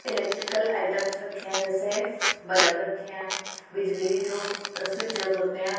Electrical items रखे हैं जैसे बलब रखे हैं बिजली जो स्विचेस होते हैं।